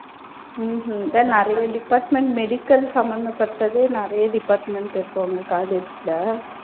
உம் உம் அதான் நிறைய department medical சம்பந்தப்பட்டது நிறைய department இருக்கா உங்க college ல